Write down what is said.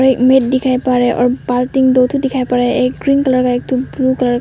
हमें दिखाई पर रा और बाल्टी दो ठो दिखाई पड़ रहा एक ग्रीन कलर का एक ठो ब्लू कलर --